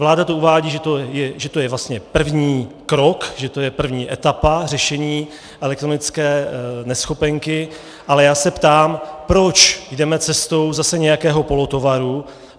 Vláda to uvádí, že to je vlastně první krok, že to je první etapa řešení elektronické neschopenky, ale já se ptám, proč jdeme cestou zase nějakého polotovaru.